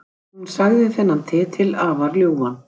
Hún sagði þennan titil afar ljúfan